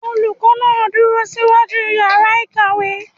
Olùkọ́ náà dúró síwájú yàrá ìkàwé.